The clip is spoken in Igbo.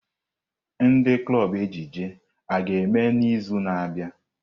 Ndị klọb ejije a ga-eme n'izu na-abịa?